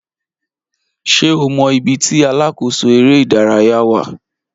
Ṣé o mọ ibi tí alákòóso eré ìdárayá wà?